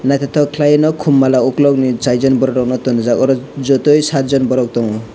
naithotok khlai no khum mala ukulukni charjon borok rokno tonijak oro jotoi sathjon borok tongo.